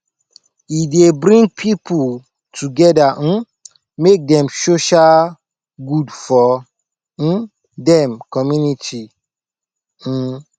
e dey bring people together um make dem social good for um dem community um